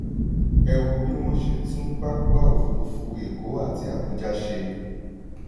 ẹ wo bí wọ́n ṣe tún pápá òfurufú èkó àti abuja ṣe.